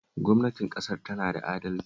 Gwamnatin ƙasar tana da adalci